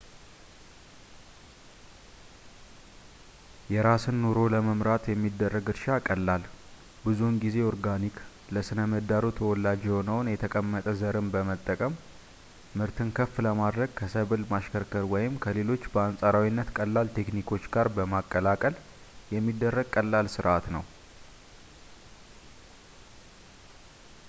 የራስን ኑሮ ለመምራት የሚደረግ እርሻ ቀላል ፣ ብዙውን ጊዜ ኦርጋኒክ ፣ ለሥነ-ምህዳሩ ተወላጅ የሆነውን የተቀመጠ ዘርን በመጠቀም ምርትን ከፍ ለማድረግ ከሰብል ማሽከርከር ወይም ከሌሎች በአንፃራዊነት ቀላል ቴክኒኮች ጋር በማቀላቀል የሚደረግ ቀላል ስርዓት ነው